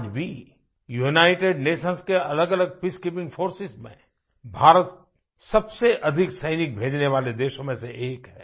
आज भी United Nations कीअलगअलग पीस कीपिंग फोर्सेस में भारत सबसे अधिक सैनिक भेजने वाले देशों में से एक है